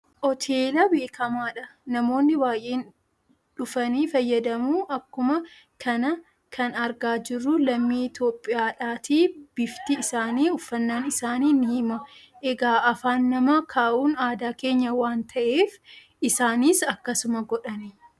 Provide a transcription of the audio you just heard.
Hoteela beekamaadha namoonni baayyeen dhufanii fayyadamu akkuma kana kan argaa jirru lammii itiyoophiyaadha bifti isaani uffannaan isaani nii hima egaa afaan nama kahuun aadaa keenya waan taheef isaanis akkasuma godhan